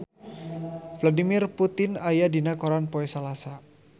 Vladimir Putin aya dina koran poe Salasa